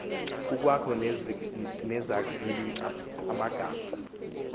kukwakho nezakbi magama